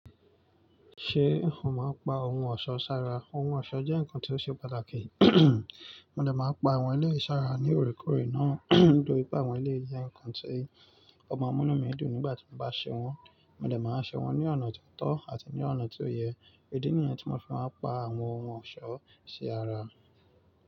Ṣé n ó máa pa ohun ọ̀ṣọ́ sára? Ohun ọ̀ṣọ́ jẹ́ nǹkan tó ṣe pàtàkì. Mo dẹ̀ máa ń pa àwọn eléyì sára ní òrèkórè náà, nítorí pé àwọn eléyì jẹ́ nǹkan tí ó má mú inúmi dùn nígbà tí mo bá ṣe wọ́n. Mo dẹ̀ máa ṣe wọ́n ní ọ̀nà tó tọ́ àti ní ọ̀nà tó yẹ. Ìdí nìyẹn tí mo fi máa pa àwọn ohun ọ̀ṣọ́ sí ara.